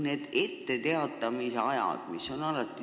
Need etteteatamise ajad on olulised.